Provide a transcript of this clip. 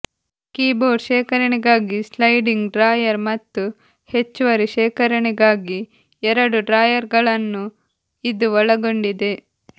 keyboard ಶೇಖರಣೆಗಾಗಿ sliding drawer ಮತ್ತು ಹೆಚ್ಚುವರಿ ಶೇಖರಣೆಗಾಗಿ ಎರಡು ಡ್ರಾಯರ್ಗಳನ್ನು ಇದು ಒಳಗೊಂಡಿದೆ